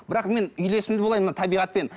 бірақ мен үйлесімді болайын мына табиғатпен